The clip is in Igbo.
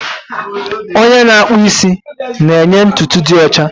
Onye na-akpụ isi na-enye ntutu dị ọcha